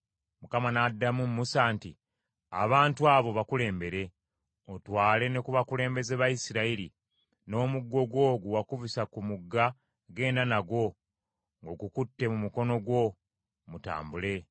Mukama n’addamu Musa nti, “Abantu abo bakulembere, otwale ne ku bakulembeze ba Isirayiri; n’omuggo gwo gwe wakubisa ku mugga genda nagwo ng’ogukutte mu mukono gwo, mutambule.